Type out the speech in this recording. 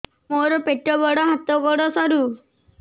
ମୋର ପେଟ ବଡ ହାତ ଗୋଡ ସରୁ